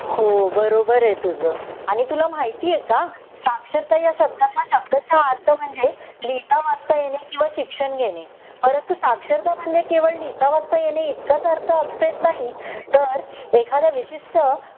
हो बरोबर आहे तुझ आणि तुला माहितीये का साक्षरता ह्या शब्दाचा शब्द: अर्थ म्हणजे लिहिता वाचता येणे किंवा शिक्षण घेणे परंतु साक्षरता म्हणजे केवळ लिहिता वाचता येणे इतकाच अर्थ अभिप्रेत नाही तर एखाद्या विशिष्ट